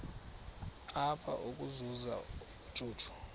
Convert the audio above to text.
apha ukuzuza ubujuju